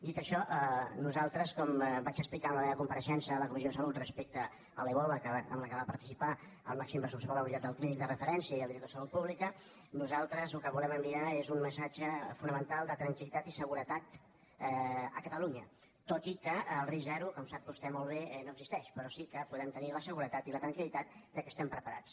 dit això nosaltres com vaig explicar en la meva compareixença a la comissió de salut respecte a l’ebola en què van participar el màxim responsable de la unitat del clínic de referència i el director de salut pública nosaltres el que volem enviar és un missatge fonamental de tranquil·litat i seguretat a catalunya tot i que el risc zero com sap vostè molt bé no existeix però sí que podem tenir la seguretat i la tranquilque estem preparats